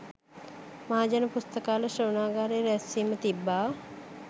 මහජන පුස්තකාල ශ්‍රවණාගාරයේ රැස්වීම තිබ්බා